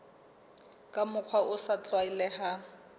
ka mokgwa o sa tlwaelehang